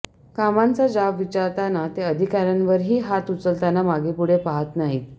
कामांचा जाब विचारताना ते अधिकाऱ्यांवरही हात उचलताना मागेपुडे पाहत नाहीत